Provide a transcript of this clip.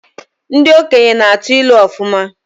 Ndị okenye na-atụ ilu ọfụma.